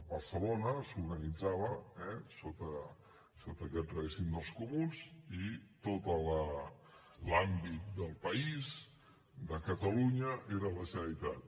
barcelona s’organitzava sota aquest règim dels comuns i tot l’àmbit del país de catalunya era la generalitat